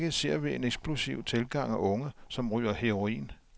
I øjeblikket ser vi en eksplosiv tilgang af unge, som ryger heroin.